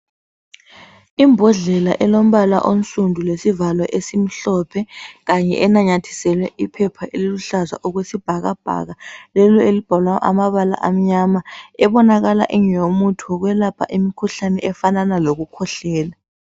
Imbodlela elombala onsundu lesivalo esimhlophe kanye enanyathiselwelwe iphepha eliluhlaza okwesibhakabhaka, lelo elibhalwe amabala amnyama ebonakala ingeyokwelapha umkhuhlane ofana lokukhwehlela.